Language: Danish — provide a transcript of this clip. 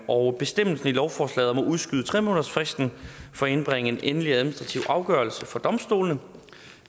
og bestemmelsen i lovforslaget om at udskyde tre månedersfristen for at indbringe en endelig administrativ afgørelse for domstolene